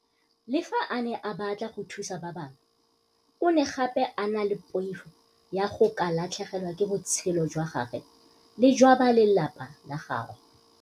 Le fa a ne a batla go thusa batho ba bangwe, o ne gape a na le poifo ya go ka latlhegelwa ke botshelo jwa gagwe le jwa ba lelapa la gagwe.